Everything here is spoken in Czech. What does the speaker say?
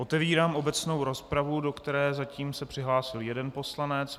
Otevírám obecnou rozpravu, do které se zatím přihlásil jeden poslanec.